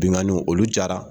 Binganniw olu cayara.